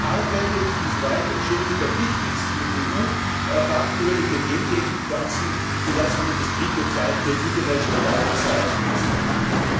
So arbeitet die Verwaltungschefin der wichtigsten EU Fachbehörde für Gentechnikpflanzen für das von der Industrie bezahlte International Life Science Institute.